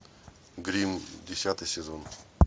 гримм десятый сезон